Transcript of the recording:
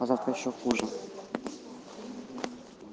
а завтра ещё хуже